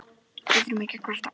Við þurfum ekki að kvarta.